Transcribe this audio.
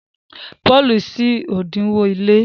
Paul ṣí odinwo ile.